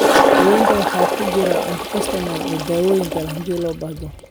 Daawaynta waxaa ku jiri kara antihistamines iyo daawooyin kale, haddii loo baahdo.